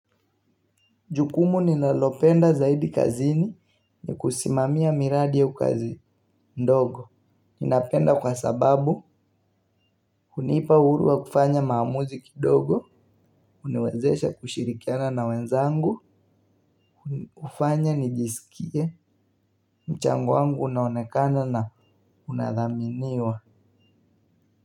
Jukumu ninalopenda zaidi kazini ni kusimamia miradi ya kazi ndogo. Ninapenda kwa sababu hunipa uhuru wa kufanya maamuzi kidogo, uniwezesha kushirikiana na wenzangu, ufanya nijisikie, mchango wangu unaonekana na unadhaminiwa.